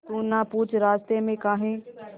तू ना पूछ रास्तें में काहे